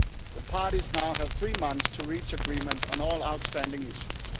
The parties now have three months to reach agreement on all outstanding issues.